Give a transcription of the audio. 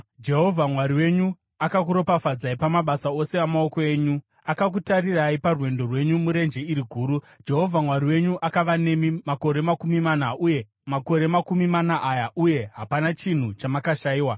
Jehovha Mwari wenyu akakuropafadzai pamabasa ose amaoko enyu. Akakutarirai parwendo rwenyu murenje iri guru. Jehovha Mwari wenyu akava nemi, makore makumi mana aya, uye hapana chinhu chamakashayiwa.